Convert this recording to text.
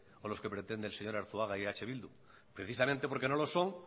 o los que pretende el señor arzuaga y eh bildu precisamente porque no lo son